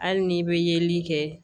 Hali n'i bɛ yeli kɛ